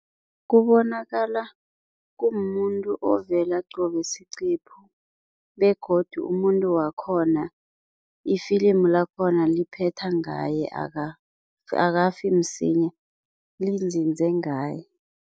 Kubonakala kumumuntu ovela qobe siqephu, begodu umuntu wakhona ifilimu lakhona liphetha ngaye akafi msinya, linzinze ngaye.